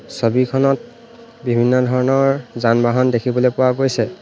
ছবিখনত বিভিন্ন ধৰণৰ যান-বহন দেখিবলৈ পোৱা গৈছে।